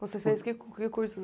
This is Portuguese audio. Você fez que que cursos?